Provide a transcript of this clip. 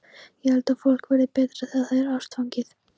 Ég held að fólk verði betra þegar það er ástfangið.